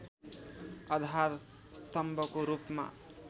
आधार स्तम्भको रूपमा